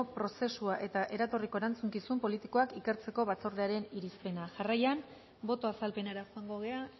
prozesua eta eratorriko erantzukizun politikoak ikertzeko batzordearen irizpena jarraian boto azalpenera joango gara